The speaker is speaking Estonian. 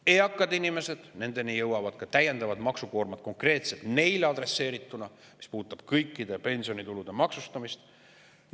Eakate inimesteni jõuab ka täiendav maksukoorem, mis on konkreetselt neile adresseeritud ja puudutab kõikide pensionitulude maksustamist.